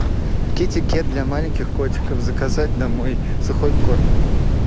китикет для маленьких котиков заказать домой сухой корм